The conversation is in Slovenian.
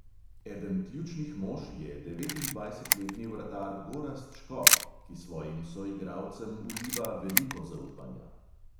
Eden ključnih mož je devetindvajsetletni vratar gorazd škof, ki svojim soigralcem vliva veliko zaupanja.